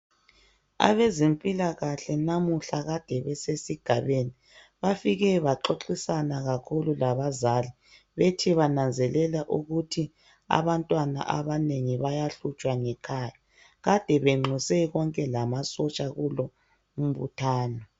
Abezempilakahle namuhla Kade besesigabeni bafike baxoxisana kakhulu labazali bethi bananzelele ukuthi abantwana abanengi bayahlutshwa ngekhaya Kade benxuse konke lamasotsha kulo umbuthano.